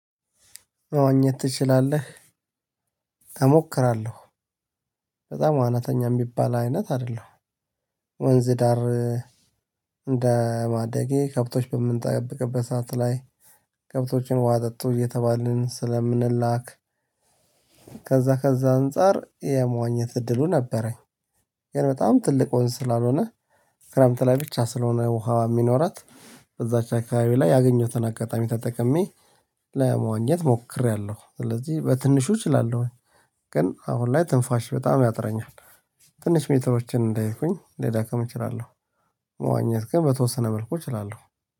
መዋኘት ትችላለህ? እሞክራለሁ በጣም ዋናተኛ የሚባል አይነት አይደለም። ወንዝ ዳር እንደ ማደጌ ከብቶች በምንጠብቅበት ሰዓት ላይ ከብቶችን ውሃ አጠጡ እየተባልን ስለምንላክ። ከዛ ከዛ አንፃር የመዋኘት እድሉ ነበረኝ። ይሄን በጣም ትልቅ ወንዝ ስላልሆነ ክረምት ላይ ብቻ ስለሆነ ውሃ የሚኖራት እዛች አካባቢ ላይ ያገኘሁትን አጋጣሚ ተጠቅሜ ለመዋኘት ሞክሬያለሁ ስለዚህ በትንሹ እችላለሁ። ግን አሁን ላይ ትንፋሽ በጣም ያጥረኛል። ትንሽ ሜትሮችን እንዳይኩኝ ልደክም እችላለሁ። መዋኘት ግን በተወሰነ መልኩ እችላለሁ።